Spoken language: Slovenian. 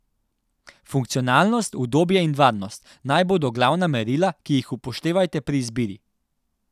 Funkcionalnost, udobje in varnost naj bodo glavna merila, ki jih upoštevajte pri izbiri.